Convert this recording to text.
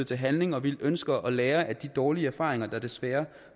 til handling og vi ønsker at lære af de dårlige erfaringer der desværre